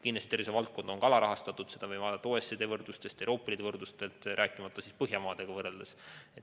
Kindlasti on tervishoiuvaldkond ka alarahastatud, seda võime näha OECD võrdlustes ja Euroopa Liidu võrdlustest, rääkimata Põhjamaadest.